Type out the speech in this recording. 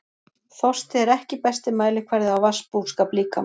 Þorsti er ekki besti mælikvarði á vatnsbúskap líkamans.